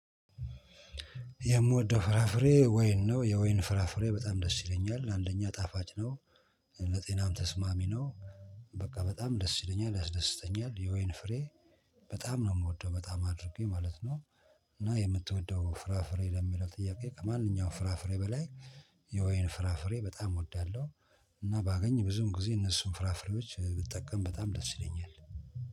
የምወደው ፍራፍሬ ወይን ነው የወይን ፍራፍሬ በጣም ደስ ይለኛል አንደኛ ጣፋጭ ነው ለጤናም ተስማሚ ነው። በቃ በጣም ደስ ይለኛል ያስደስተኛል የወይን ፍሬ። በጣም ነው የምወደው በጣም አድርጌ ማለት ነው። እና የምትወደው ፍራፍሬ ለሚለው ጥያቄ ከማንኛውም ፍራፍሬ በላይ የወይን ፍራፍሬ በጣም እወዳለሁ። እና ባገኝ ብዙም ጊዜ እነሱን ፍራፍሬዎች ብጠቀም በጣም ደስ ይለኛል።